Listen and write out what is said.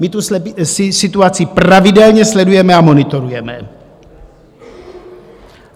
My tu situaci pravidelně sledujeme a monitorujeme.